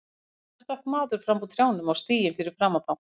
Skyndilega stökk maður fram úr trjánum á stíginn fyrir framan þá.